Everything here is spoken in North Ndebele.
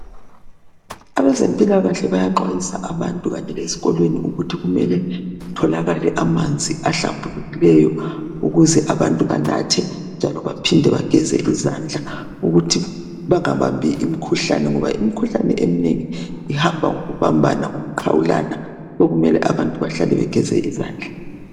Abazempilakahle bayaxwayisa abantu Kanye lezikolweni kuthi kumele kutholakale amanzi ahlambulekileyo ukuze abantu banathe. Njalo baphinde bageze lezandla ukuthi bangabambi imikhuhlane ngoba imikhuhlane eminengi uhamba ngokubambana, lokuxhawulana sokumele abantu behlale begeze izandla.